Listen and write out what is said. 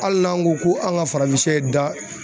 Ali n'an ko ko an ga farafin da